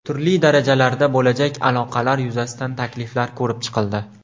Turli darajalarda bo‘lajak aloqalar yuzasidan takliflar ko‘rib chiqildi.